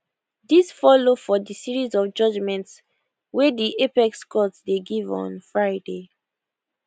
dis follow for di series of judgements wey di apex court dey give on friday